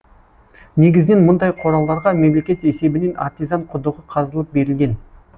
негізінен мұндай қораларға мемлекет есебінен артизан құдығы қазылып берілген